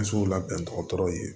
Misiw labɛntɔw ye